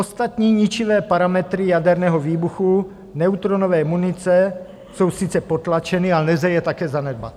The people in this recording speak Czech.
Ostatní ničivé parametry jaderného výbuchu neutronové munice jsou sice potlačeny, ale nelze je také zanedbat.